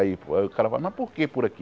Aí pô o cara fala, mas por quê por aqui?